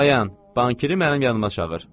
Dayan, bankiri mənim yanıma çağır.